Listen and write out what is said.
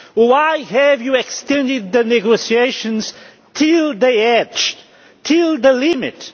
Why have you extended the negotiations to the edge, to the limit?